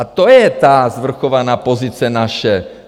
A to je ta svrchovaná pozice naše.